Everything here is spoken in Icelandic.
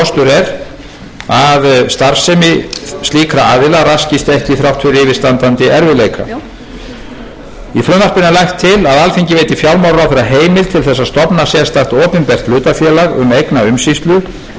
er nauðsynlegt að tryggja eins og kostur er að starfsemi slíkra aðila raskist ekki þrátt fyrir yfirstandandi erfiðleika í frumvarpinu er lagt til að alþingi veiti fjármálaráðherra heimild til þess að stofna sérstakt opinbert hlutafélag um eignaumsýslu þar sem byggð verði upp heildstæð þekking á endurskipulagningu fjárhags og